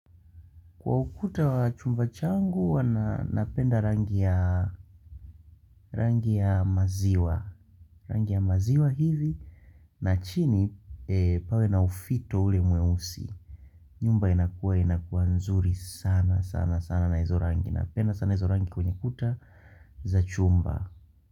Kwa ukuta wa chumba changu wana napenda rangi ya maziwa. Rangi ya maziwa hivi na chini pawe na ufito ule mweusi. Nyumba inakuwa inakuwa nzuri sana sana sana na hizo rangi. Napenda sana hizo rangi kwenye kuta za chumba.